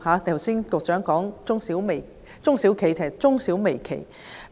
局長剛才提到中小企，實應為中小微企。